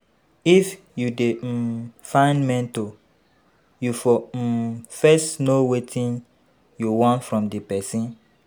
If you dey um find mentor, you fo um first know wetin you want from di person